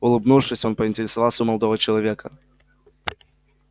улыбнувшись он поинтересовался у молодого человека